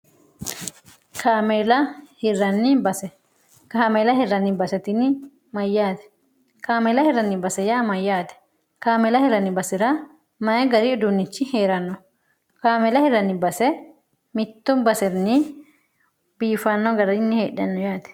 kaamela hirranni base kaamela hirranni bastini mayyaate kaameela hirranni base yaa mayyaate kaamela hirranni basi'ra mayi gari uduunnichi hee'ranno kaamela hirranni base mittu basirni biifanno gararinni heedhanno yaati